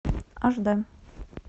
аш дэ